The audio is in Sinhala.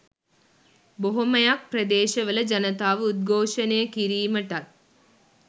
බොහොමයක් ප්‍රදේශවල ජනතාව උද්ඝෝෂණය කිරීමටත්